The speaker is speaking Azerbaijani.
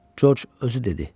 Corc özü dedi.